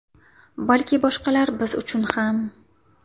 Balki boshqalar biz uchun ham.